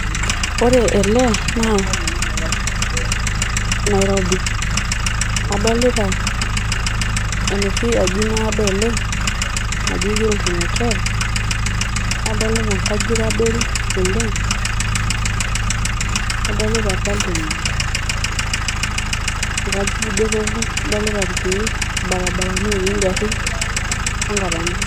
Ore ele naa Nairobi adolita enoshi aji naado oleng naji Hilton hotel adolita nkajijik adoru oleng ,adolita Parliament, nkajijik doropu ,adolita irkiek ,ibarabarani otii ngarin onkatampo.